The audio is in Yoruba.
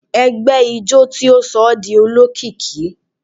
Ẹgbẹ ijó ti sọ ọ́ di olókìkí.